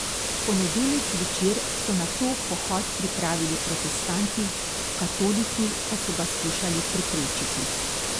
V ponedeljek zvečer so nato pohod pripravili protestanti, katoliki pa so ga skušali preprečiti.